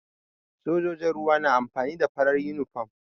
Sojojin ruwa na amfani da farar yunifom.